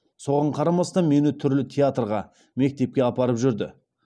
соған қарамастан мені түрлі театрға мектепке апарып жүрді